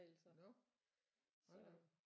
Nåh hold da op